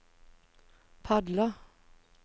padler